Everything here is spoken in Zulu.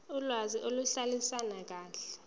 okwazi ukuhlalisana kahle